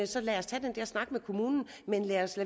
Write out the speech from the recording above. så lad os tage den der snak med kommunen men lad os